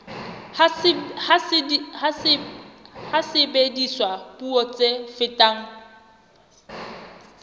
ha sebediswa puo tse fetang